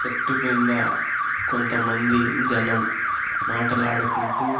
చెట్టు కింద కొంతమంది జనం మాటలాడుకుంటూ.